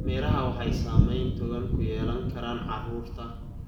Miraha waxay saameyn togan ku yeelan karaan carruurta.